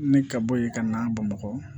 Ni ka bɔ yen ka na bamakɔ